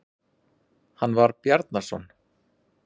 Hann var Bjarnason.